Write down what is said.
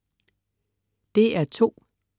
DR2: